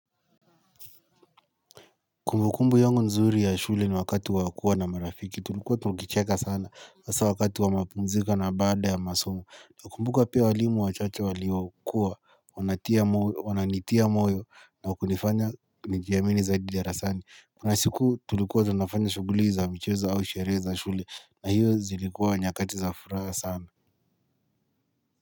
Kumbukumbu yangu nzuri ya shule ni wakati wa kuwa na marafiki tulikuwa tukicheka sana hasaa wakati wa mapumziko na baada ya masomo Nakumbuka pia walimu wachache waliokuwa Wananitia moyo na kunifanya nijiamini zaidi darasani Kuna siku tulikuwa tunafanya shughuli za michezo au sherehe za shule na hiyo zilikua nyakati za furaha sana.